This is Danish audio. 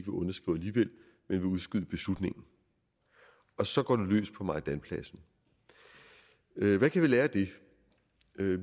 ville udskyde beslutningen og så går det løs på majdanpladsen hvad kan vi lære af det